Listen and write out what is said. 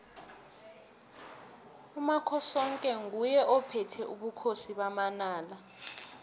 umakhosoke nguye ophethe ubukhosi bamanala